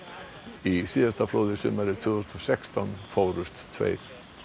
í síðasta flóði sumarið tvö þúsund og sextán fórust tveir